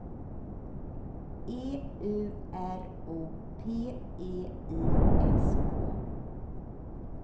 E U R O P E I S K